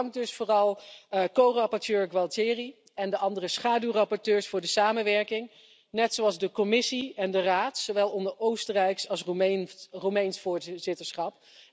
Ik dank dus vooral co rapporteur Gualtieri en de andere schaduwrapporteurs voor de samenwerking, net zoals de Commissie en de Raad, zowel onder Oostenrijks als Roemeens voorzitterschap.